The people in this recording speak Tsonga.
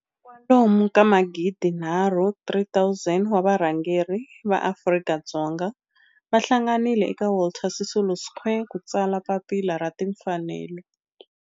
Kwalomu ka magidinharhu, 3 000, wa varhangeri va maAfrika-Dzonga va hlanganile eka Walter Sisulu Square ku ta tsala Papila ra Tinfanelo.